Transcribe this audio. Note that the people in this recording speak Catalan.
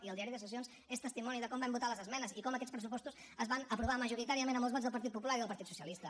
i el diari de sessions és testimoni de com vam votar les esmenes i com aquests pressupostos es van aprovar majoritàriament amb els vots del partit popular i del partit socialista